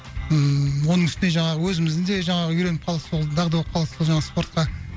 ммм оның үстіне жаңағы өзіміздің де жаңағы үйреніп қалдық сол дағды болып қалдық сол жаңағы спортқа